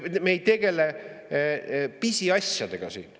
Me ei tegele pisiasjadega siin.